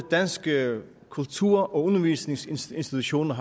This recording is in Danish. danske kultur og undervisningsinstitutioner